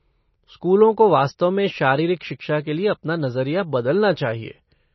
स्कूलों को वास्तव में शारीरिक शिक्षा के लिए अपना नजरिया बदलना चाहिए।